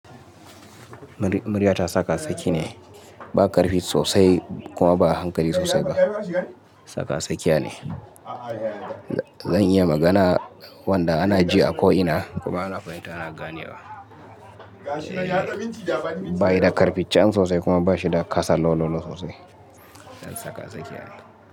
Murya ta tsaka tsakiya ne, ba ƙarfi sosai kuma ba a hankali sosai ba. Tsaka tsakiya ne. Zan iya magana wanda ana ji a ko'ina kuma ana fahimta, ana gane wa. Ba yi da ƙarfi chan sosai kuma ba shi da ƙasa low low low sosai. Tsaka tsakiya ne.